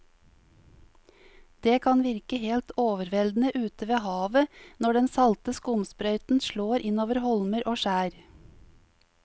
Det kan virke helt overveldende ute ved havet når den salte skumsprøyten slår innover holmer og skjær.